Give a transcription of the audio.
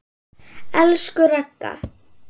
Elsku Ragga.